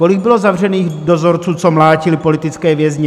Kolik bylo zavřených dozorců, co mlátili politické vězně?